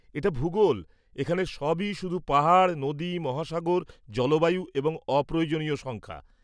এটা ভুগোল! এখানে সবই শুধু পাহাড়, নদী, মহাসাগর, জলবায়ু এবং অপ্রয়োজনীয় সংখ্যা।